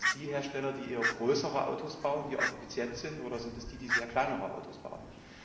Sind das die Hersteller, die eher größere Autos bauen, die auch effizient sind, oder sind es die, die kleinere Autos bauen?